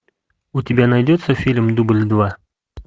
у тебя найдется фильм дубль два